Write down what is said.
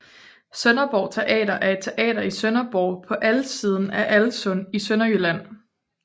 Sønderborg Teater er et teater i Sønderborg på Alssiden af Alssund i Sønderjylland